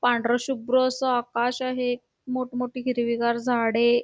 पांढराशुभ्र असं आकाश आहे मोठं मोठी हिरवीगार झाडे --